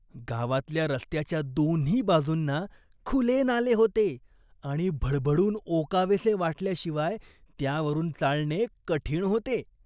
गावातल्या रस्त्याच्या दोन्ही बाजूंना खुले नाले होते आणि भडभडून ओकावेसे वाटल्याशिवाय त्यावरून चालणे कठीण होते.